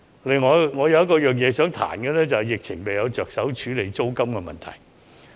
另外，我想批評政府在疫情下未有着手處理租金的問題。